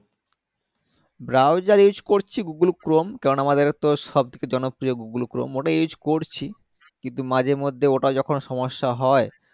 browser use করছি google chrome কেনোনা আমাদের তো সবথেকে জনপ্রিয় google chrome mozilla use করছি কিন্তু মাঝেমধ্যে ওটা যখন সমস্যা হয়